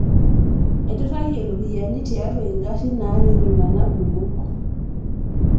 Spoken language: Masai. aiturayie iropiani tiatu ingarrin naati iltunak kumok